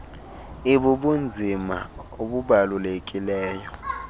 ik ibubunzima obubalulekileyo